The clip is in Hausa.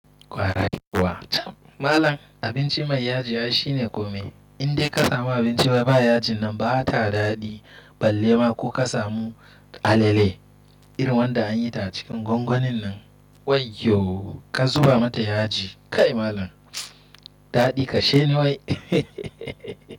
Kwarai kuwa. Malam abinci mai yaji ai shine kome. In dai ka samu abinci da ba yaji nan ba ta daɗi. Ballema ko ka samu alele irin wanda an yi ta cikin gwangwanin nan. Wayyo ka zuba mata yaji kai malam. Daɗi kashe ne wai.